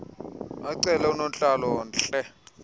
acele unontlalo ntle